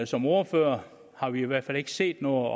som ordførere har vi i hvert fald ikke set noget